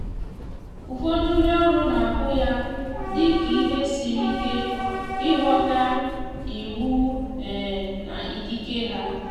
ụfọdụ ndi oru na ahụ ya dị ka ihe siri ike ịghọta iwu na ikike ha